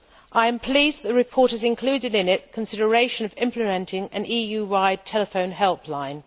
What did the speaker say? I am pleased that the report has included in it consideration of implementing an EU wide telephone helpline.